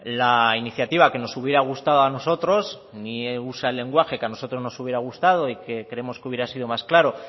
la iniciativa que nos hubiera gustado a nosotros ni usa el lenguaje a nosotros nos hubiera gustado y que creemos que hubiera sido más claro